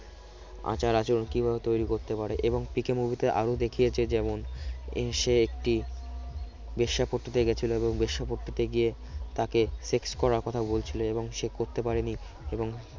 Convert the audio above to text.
আচার-আচরণ কিভাবে তৈরি করতে পারে এবং পিকে movie তে আরো দেখিয়েছে যেমন এই সে একটি বেশ্যাপট্টিতে গেছিল এবং বেশ্যাপট্টিতে গিয়ে তাকে sex করার কথা বলছিল এবং সে করতে পারেনি এবং